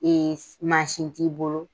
Ee mansin t'i bolo